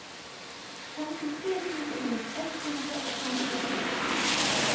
femtitre tusen ett hundre og femtito